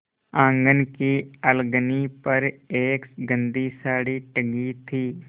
आँगन की अलगनी पर एक गंदी साड़ी टंगी थी